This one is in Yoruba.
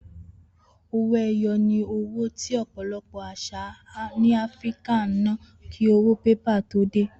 Owó e̩yo̩ ni owó tí ò̩pò̩lo̩pò̩ às̩à ní Afíríkà ń ná kí owó pépà tó dé